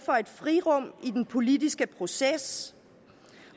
for et frirum i den politiske proces